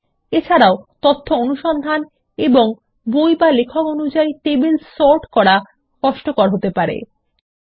এছাড়াও তথ্য অনুসন্ধান এবং বই বা লেখক অনুযায়ী টেবিল সর্ট করা কষ্টকর হয়ে যাবে